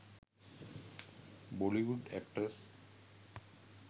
bollywood actors